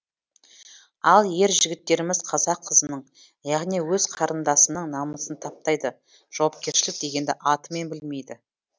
ал ер жігіттеріміз қазақ қызының яғни өз қарындасының намысын таптайды жауапкершілік дегенді атымен білмейді